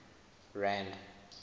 rand